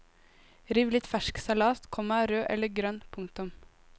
Riv litt fersk salat, komma rød eller grønn. punktum